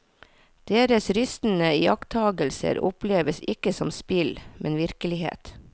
Deres rystende iakttagelser oppleves ikke som spill, men virkelighet.